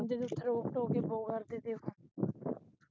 ਓਥੇ ਤੇ ਰੋਕ ਟੋਕ ਹੀ ਬਹੁਤ ਕਰਦੇ ਸੀ ਓਥੋਂ